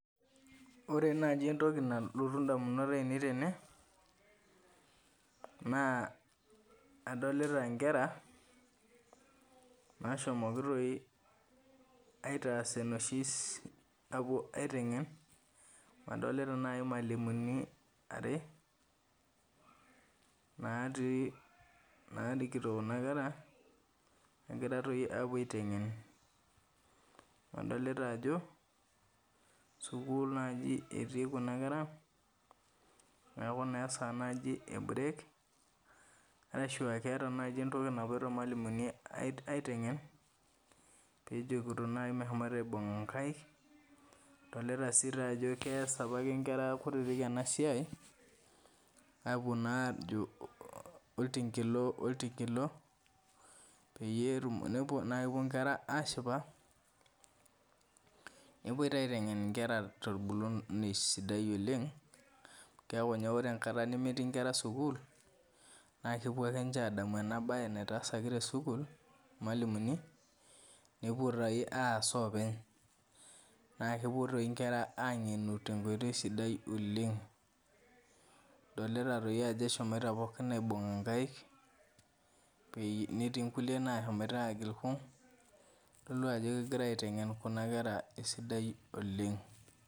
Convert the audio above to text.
Ore naji entoki nalotu indamunot ainei tene, naa adolita nkera, nashomoki toi aitaas enoshi apuo aiteng'en, adolita nai imalimuni are, natii narikito kuna kera, negira toi apuo aiteng'en. Nadolita ajo, sukuul toi etii kuna kera, neeku naa esaa naji e break, arashua keeta naji entoki napoito irmalimuni aiteng'en, pejokito naji meshomo aibung' inkaik, adolita si tajo kees apake nkera kutitik enasiai, apuo najo oltinkilo oltinkilo, peyie nakepuo nkera ashipa, nepoi taa aiteng'en nkera torbulunyei sidai oleng, keku nye ore enkata nemetii nkera sukuul, nakepuo ake nche adamu enabae naitaasaki ninche tesukuul imalimuni, nepuo toi aas openy. Nakepuo toi nkera ang'enu tenkoitoi sidai oleng, dolita toi ajo eshomoita pookin aibung'a nkaik, netii nkulie nashomoita agil kung', kitodolu ajo kegirai aiteng'en kuna kera esidai oleng.